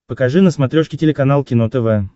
покажи на смотрешке телеканал кино тв